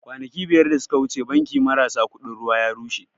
Kwanaki biyar da suka wuce banki marasa kuɗin ruwa ya rushe